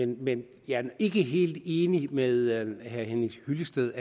men jeg er ikke helt enig med herre henning hyllested